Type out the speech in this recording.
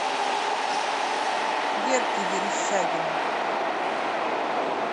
верке верещагиной